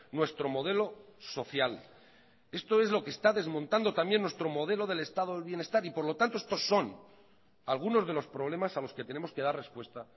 nuestro modelo social esto es lo que está desmontando también nuestro modelo del estado del bienestar y por lo tanto estos son algunos de los problemas a los que tenemos que dar respuesta